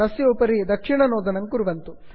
तस्य उपरि दक्षिणनोदनं कुर्वन्तु